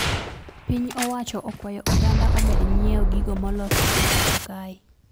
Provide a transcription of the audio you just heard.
Piny owacho okwayo oganda omed nyieo gigo molosi e pacho kae